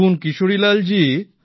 দেখুন কিশোরীলালজি